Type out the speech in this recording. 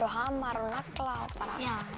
hamar og nagla